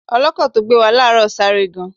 Ọlọ́kọ̀ tó gbé wa láàárọ̀ sáré gan.